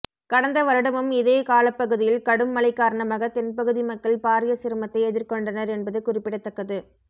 கடந்த வருடமும் இதே காலப்பகுதியில் கடும் மழை காரணமாக தென் பகுதி மக்கள் பாரிய சிரமத்தை எதிர்கொண்டனர் என்பது குறிப்பிடத்தக்கது